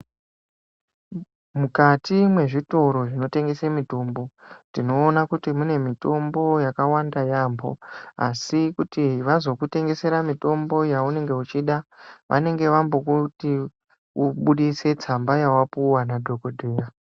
Mukati mwe zvitoro zvino tengese mitombo tino ona kuti mune mitombo yaka wanda yambo asi kuti vazoku tengesera mutombo ya unenge uchida vanenge vambo kuti ubudise tsamba yawa puwa na dhokodheya.